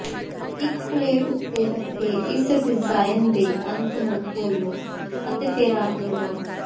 ਇੱਕ ਪਲੇਟ ਉੱਤੇ ਰੱਖੇ ਇਸ ਡਿਜ਼ਾਈਨ ਦੇ ਅੰਤ ਨੂੰ ਖੋਲ੍ਹੋ ਅਤੇ ਫੇਰ ਅੱਗ ਲਗਾਓ